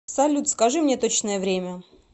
салют скажи мне точное время